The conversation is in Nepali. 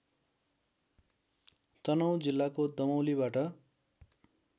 तनहुँ जिल्लाको दमौलीबाट